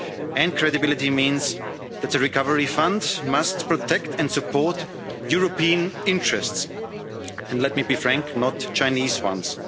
market. And credibility means that the recovery fund must protect and support European interests and let me be frank not Chinese